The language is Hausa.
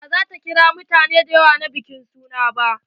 Ba ta kira mutane da yawa na bikin suna ba.